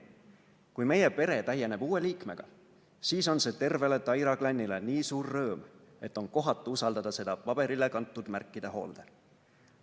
Kui meie pere täieneb uue liikmega, siis on see tervele Taira klannile nii suur rõõm, et on kohatu usaldada seda paberile kantud märkida hoolde.